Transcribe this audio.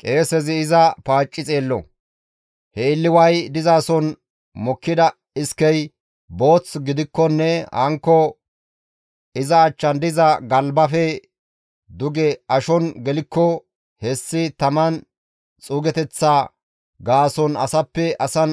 Qeesezi iza paacci xeello; he illiway dizason mokkida iskey booth gidikkonne hankko iza achchan diza galbaafe duge ashon gelikko hessi taman xuugeteththa gaason asappe asan